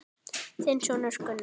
Þinn sonur, Gunnar.